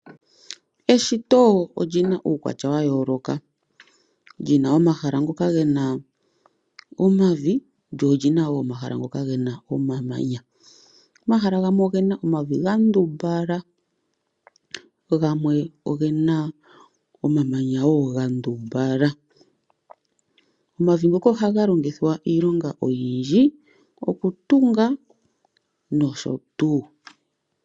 Eshito olina uukwatya wayooloka, lina omahala ngoka gena omavi, gamwe ogena omamanya. Omahala gamwe ogena omavi gandumbala, gamwe ogena omamanya gandumbala. Omavi ngoka ohaga longithwa iilonga oyindji ngaashi okutunga nosho tuu.